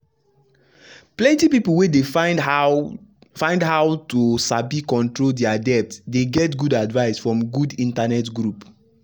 plenty people wey dey find how find how to sabi control dia debt dey get good advice from good internet group